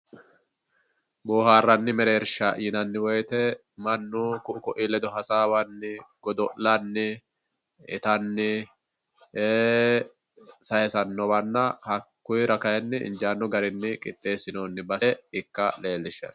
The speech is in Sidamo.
boohaarranni mereersha yinanni woyiite mannu ku'u ku'uyii ledo hasaawanni godo'lanni itanni sayiisannowanna hakkuyiira kayiinni injaanno garinni qixxeessinoonni base ikka leellishshanno